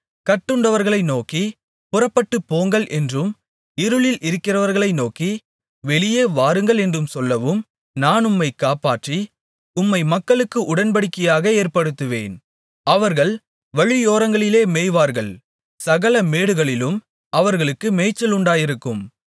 கட்டுண்டவர்களை நோக்கி புறப்பட்டுப்போங்கள் என்றும் இருளில் இருக்கிறவர்களை நோக்கி வெளியே வாருங்கள் என்றும் சொல்லவும் நான் உம்மைக் காப்பாற்றி உம்மை மக்களுக்கு உடன்படிக்கையாக ஏற்படுத்துவேன் அவர்கள் வழியோரங்களிலே மேய்வார்கள் சகல மேடுகளிலும் அவர்களுக்கு மேய்ச்சல் உண்டாயிருக்கும்